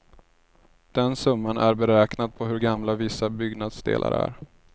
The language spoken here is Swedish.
Den summan är beräknad på hur gamla vissa byggnadsdelar är.